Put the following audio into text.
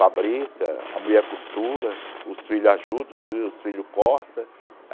Fabrica, a mulher costura, os filhos ajudam, os filhos cortam.